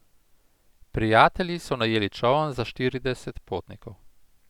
Prijatelji so najeli čoln za štirideset potnikov.